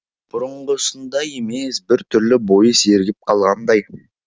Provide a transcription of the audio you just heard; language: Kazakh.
бұрынғысындай емес бір түрлі бойы сергіп қалғандай